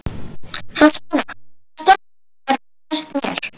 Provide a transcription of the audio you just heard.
Þorsteina, hvaða stoppistöð er næst mér?